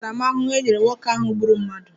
Olee ntaramahụhụ e nyere nwoke ahụ gburu mmadụ?